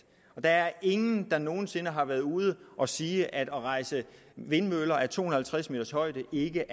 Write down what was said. og der er ingen der nogen sinde har været ude at sige at rejse vindmøller af to hundrede og halvtreds m’s højde ikke